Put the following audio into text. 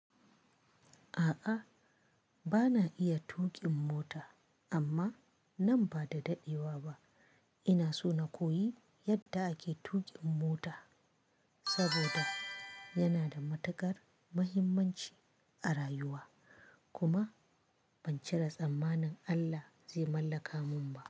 A'a, bana iya tuƙin mota amma nan ba da daɗewa ba ina so na koyi yadda ake tuƙin mota saboda yana da matukar muhimmanci a rayuwa. Kuma ban cire tsammanin Allah zai mallaka mun ba.